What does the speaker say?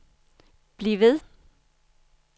bliv ved